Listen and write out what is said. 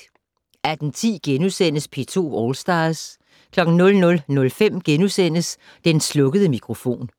18:10: P2 All Stars * 00:05: Den slukkede mikrofon *